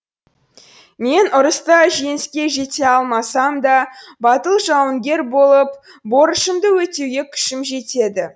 мен ұрыста жеңіске жете алмасам да батыл жауынгер болып борышымды өтеуге күшім жетеді